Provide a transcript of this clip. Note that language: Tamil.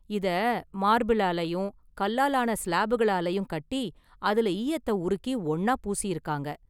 இத மார்பிளாலயும் கல்லால ஆன சிலாபுகளாலயும் கட்டி அதுல ஈயத்த உருக்கி ஒன்னா பூசியிருக்காங்க.